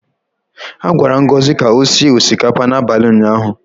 A gwara Ngozi ka o sie osikapa n’abalị ụnyaahụ.